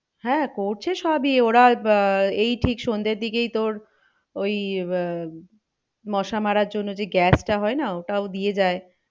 হ্যাঁ করছে সবই ওরা আহ এই ঠিক সন্ধের দিকেই তোর ওই আহ মশা মারার জন্য যে gas টা হয় না ওটাও দিয়ে যায়।